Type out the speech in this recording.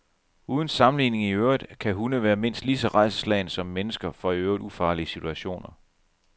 Uden sammenligning i øvrigt kan hunde være mindst lige så rædselsslagne som mennesker for i øvrigt ufarlige situationer.